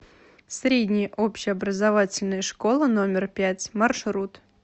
средняя общеобразовательная школа номер пять маршрут